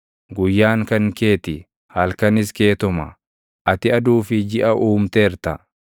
Guyyaan kan kee ti; halkanis keetuma; ati aduu fi jiʼa uumteerta.